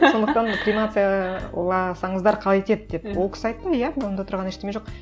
сондықтан кремацияласаңыздар қалай етеді деп ол кісі айтты иә онда тұрған ештеңе жоқ